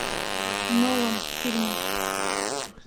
нолан фильмы